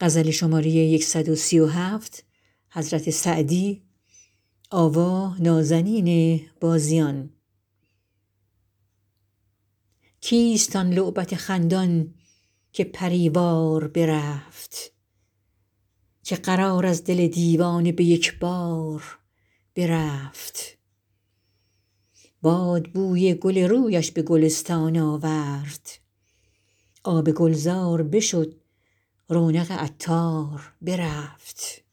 کیست آن لعبت خندان که پری وار برفت که قرار از دل دیوانه به یک بار برفت باد بوی گل رویش به گلستان آورد آب گلزار بشد رونق عطار برفت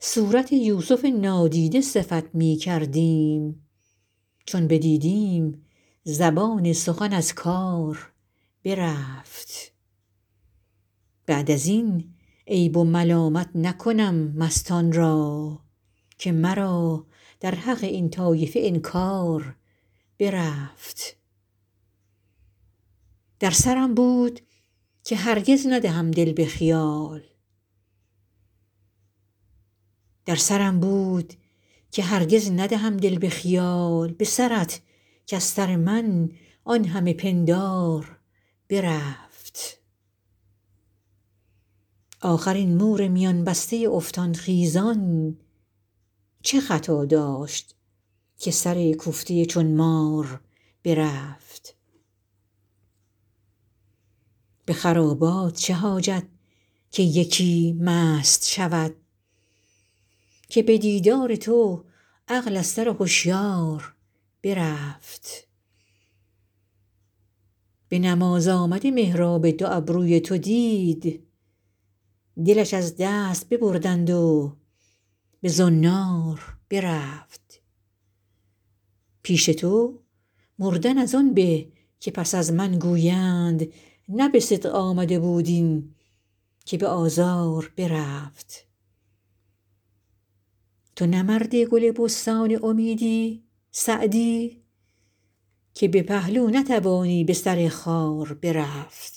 صورت یوسف نادیده صفت می کردیم چون بدیدیم زبان سخن از کار برفت بعد از این عیب و ملامت نکنم مستان را که مرا در حق این طایفه انکار برفت در سرم بود که هرگز ندهم دل به خیال به سرت کز سر من آن همه پندار برفت آخر این مور میان بسته افتان خیزان چه خطا داشت که سرکوفته چون مار برفت به خرابات چه حاجت که یکی مست شود که به دیدار تو عقل از سر هشیار برفت به نماز آمده محراب دو ابروی تو دید دلش از دست ببردند و به زنار برفت پیش تو مردن از آن به که پس از من گویند نه به صدق آمده بود این که به آزار برفت تو نه مرد گل بستان امیدی سعدی که به پهلو نتوانی به سر خار برفت